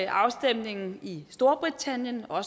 afstemningen i storbritannien og